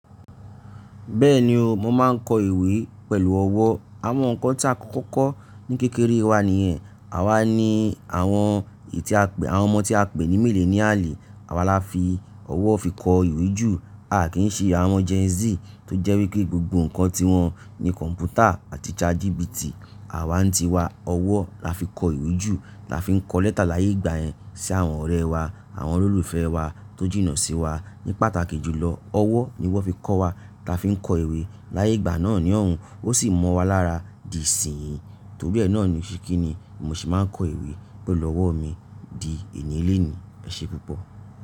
Bẹ́ẹ̀ni o, mo máa ń kọ ìwé pẹ̀lú ọwọ́. Àwọn nǹkan tí a kọ́kọ́ kọ́ ní kékeré wa nìyẹn. Àwa ni àwọn ọmọ tí a pè ní millennial, àwa la fi ọwọ́ fi kọ ìwé jù. A kì í ṣe àwọn Gen Z tó jẹ́ wí pé gbogbo nǹkan tiwọn ni kọ̀m̀pútà àti chat GPT. Àwa n ti wa, ọwọ́ la fi kọ ìwé jù, la fi n kọ lẹ́tà láyé ìgbà yẹn sí àwọn ọ̀rẹ́ wa, àwọn olólùfẹ́ wa tó jìnnà sí wa. Ní pàtàkì jùlọ, ọwọ́ ni wọ́n fi kọ́ wa, ta fi ń kọ ìwé. Láyé ìgbà náà ní ọ̀hun, ó sì mọ́ wa lára dì sìn-ín. Torí ẹ náà ni ṣíkínni mo sì máa ń kọ ìwé pẹ̀lú ọwọ́ mi di ènì élení. Ẹ ṣe púpọ̀.